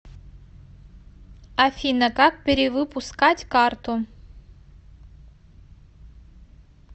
афина как перевыпускать карту